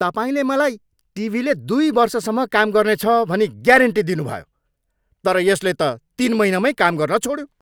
तपाईँले मलाई टिभीले दुई वर्षसम्म काम गर्नेछ भनी ग्यारेन्टी दिनुभयो तर यसले त तिन महिनामै काम गर्न छोड्यो!